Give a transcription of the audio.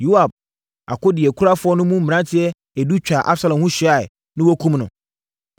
Yoab akodeɛkurafoɔ no mu mmeranteɛ edu twaa Absalom ho hyiaeɛ, na wɔkumm no.